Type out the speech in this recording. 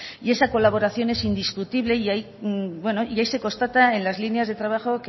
y esa colaboración es indiscutible y ahí se constata en las líneas de trabajo